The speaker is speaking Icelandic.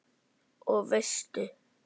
Og veistu.